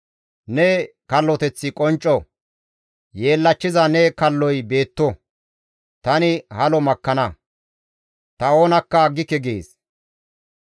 Ne kalloteththi qoncco; yeellachchiza ne kalloy beetto; tani halo makkana; ta oonakka aggike» gees.